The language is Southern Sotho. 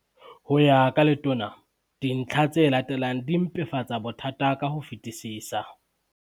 Ho ya ka Letona, dintlha tse latelang di mpefatsa bothata ka ho fetisisa.